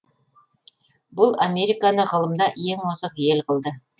бұл американы ғылымда ең озық ел қылды